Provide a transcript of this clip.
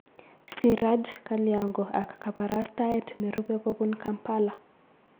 Siraj Kalyango ak kabarastaet nerubei kobun Kampala